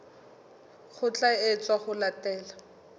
ho tla etswa ho latela